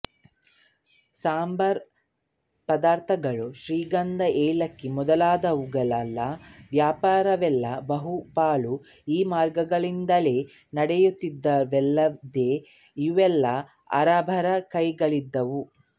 ಸಾಂಬಾರ ಪದಾರ್ಥಗಳು ಶ್ರೀಗಂಧ ಏಲಕ್ಕಿ ಮೊದಲಾದವುಗಳ ವ್ಯಾಪಾರವೆಲ್ಲ ಬಹುಪಾಲು ಈ ಮಾರ್ಗಗಳಿಂದಲೇ ನಡೆಯುತ್ತಿದ್ದುವಲ್ಲದೆ ಇವೆಲ್ಲ ಅರಬರ ಕೈಲಿದ್ದುವು